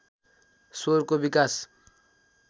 स्वरको विकास